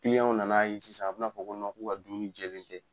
w nan'a ye sisan a bɛ n'a fɔ ko k'u ka dumuni jɛlen tɛ.